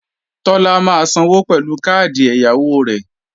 Tọ́lá máa sanwó pẹ̀lú káàdì ẹ̀yáwó rẹ̀